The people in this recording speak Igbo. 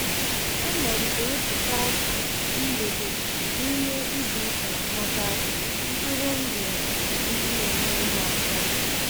Ana m ewepụta mgbede n'ime izuụka maka ntụrụndụ ndị na-enyere m aka.